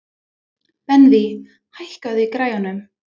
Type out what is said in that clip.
Benvý, hækkaðu í græjunum.